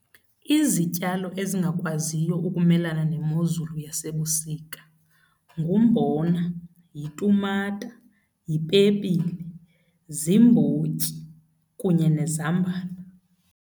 Izityalo ezingakwaziyo ukumelana nemozulu yasebusika ngumbona, yitumata yipepile, ziimbotyi kunye nezambane.